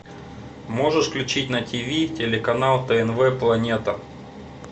можешь включить на тиви телеканал тнв планета